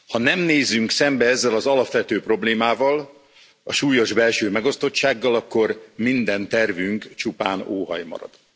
Ha nem nézünk szembe ezzel az alapvető problémával, a súlyos belső megosztottsággal, akkor minden tervünk csupán óhaj marad.